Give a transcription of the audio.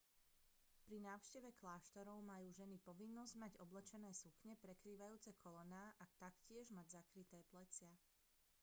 pri návšteve kláštorov majú ženy povinnosť mať oblečené sukne prekrývajúce kolená a taktiež mať zakryté plecia